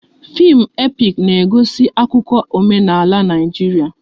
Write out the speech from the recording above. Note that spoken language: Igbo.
Fim epik na-egosi akụkọ omenala Naijiria